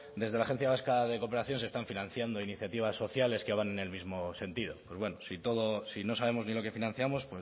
desde la agencia vasca de cooperación se están financiando iniciativas sociales que van en el mismo sentido pues si no sabemos ni lo que financiamos